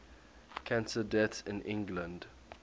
cancer deaths in england